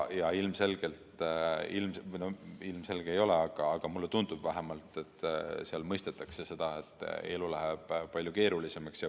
Ja ilmselgelt – või no ilmselge see ei ole, aga mulle vähemalt tundub nii – seal mõistetakse seda, et elu läheb palju keerulisemaks.